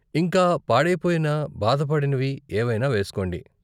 ఇంకా, పాడైపోయినా బాధపడనివి ఏవైనా వేస్కోండి!